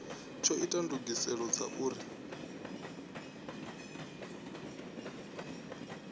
tsho ita ndugiselo dza uri